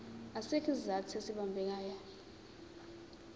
asikho isizathu esibambekayo